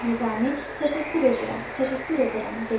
Nizami təşəkkür edirəm, təşəkkür edirəm dedi.